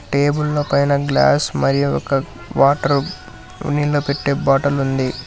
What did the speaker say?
టేబుల్ల పైన గ్లాస్ మరియు ఒక వాటర్ నీళ్లు పెట్టే బాటలుంది .